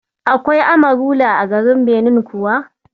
Akwai Amarula a garin Benin kuwa?